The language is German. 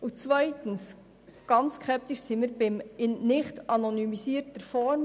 Ganz skeptisch wurden wir bei der nicht-anonymisierten Form.